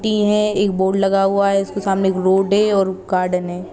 T है एक board लगा हुआ है उस के सामने एक रोड है और गार्डन है।